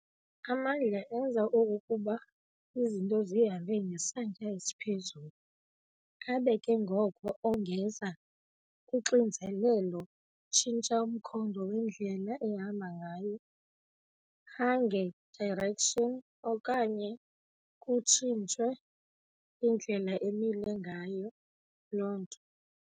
Amandla enza okokuba izinto zihambe ngesantya esiphezulu, abe ke ngoko ongeza kuxinzelelo, tshintsha umkhondo wendlela ehamba ngayo. hange direction, okanye kuctshintshe indlela emile ngayo loo nto.